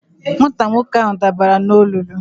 Nwata nwoke ahụ dabara n'olulu.